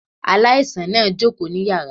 Aláìsàn náà jókòó ní yàrá